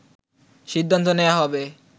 সিদ্ধান্ত নেওয়া হবে